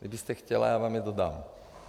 Kdybyste chtěla, já vám je dodám.